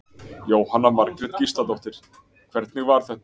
Jóhanna Margrét Gísladóttir: Hvernig var þetta?